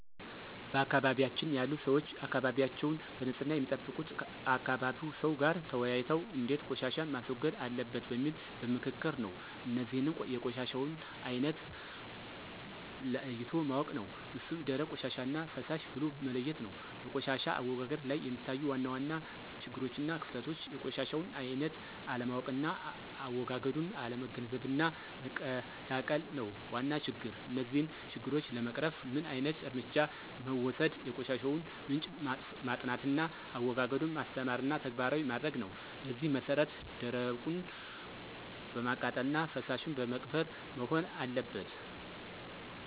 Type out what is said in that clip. በአካባቢያችን ያሉ ሰዎች አካባቢያቸዉን በንፅህና የሚጠብቁት ከአካባቢ ሰው ጋር ተወያይተው እንዴት ቆሻሻን ማስወገድ አለበት በሚል በምክክር ነው። እነዚህንም የቆሻሻውን አይነት ለይቶ ማወቅ ነው እሱም ደረቅ ቆሻሻና ፈሳሽ ብሎ መለየት ነው። በቆሻሻ አወጋገድ ላይ የሚታዩ ዋና ዋና ችግሮችና ክፍተቶች የቆሻሻውን አይነት አለማወቅና አዎጋገዱን አለመገንዘብና መቀላቀል ነው ዋና ችግር። እነዚህን ችግሮች ለመቅረፍ ምን ዓይነት እርምጃ መወሰድ የቆሻሻውን ምንጭ ማጥናትና አዎጋገዱን ማስተማርና ተግባራዊ ማድረግ ነው በዚህ መሰረት ደረቁን በማቃጠልና ፈሳሹን በመቅበር መሆን አለበት።